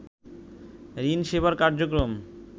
ঋণ সেবার কার্যক্রম